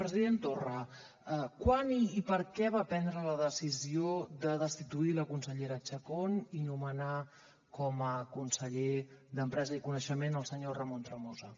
president torra quan i per què va prendre la decisió de destituir la consellera chacón i nomenar com a conseller d’empresa i coneixement el senyor ramon tremosa